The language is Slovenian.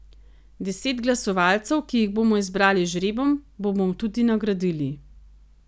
Deset glasovalcev, ki jih bomo izbrali z žrebom, bomo tudi nagradili.